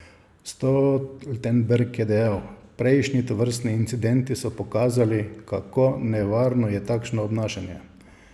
Stoltenberg je dodal: 'Prejšnji tovrstni incidenti so pokazali, kako nevarno je takšno obnašanje.